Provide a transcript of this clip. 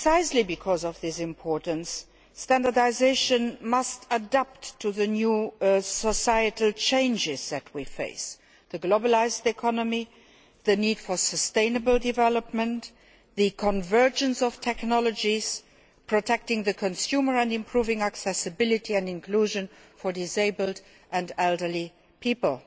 Precisely because of this importance, standardisation must adapt to the new societal changes that we face the globalised economy, the need for sustainable development, the convergence of technologies protecting the consumer and improving accessibility and inclusion for disabled and elderly people.